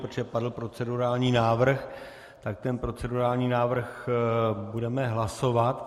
Protože padl procedurální návrh, tak ten procedurální návrh budeme hlasovat.